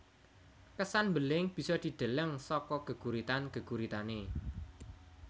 Kesan mbeling bisa dideleng saka geguritan geguritane